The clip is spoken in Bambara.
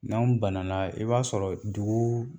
N'anw banala i b'a sɔrɔ dugu